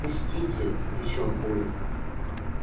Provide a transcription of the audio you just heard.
пустите кричал коля